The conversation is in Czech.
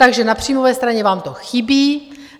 Takže na příjmové straně vám to chybí.